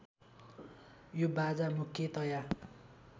यो बाजा मुख्यतया